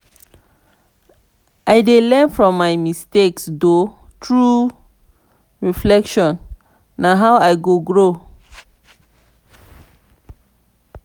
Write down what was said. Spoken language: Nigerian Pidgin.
i dey learn from my mistakes through reflection; na how i go grow.